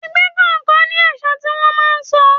Ẹgbẹ́ kọ̀ọ̀kan ní àṣà tí wón máa ń sọ.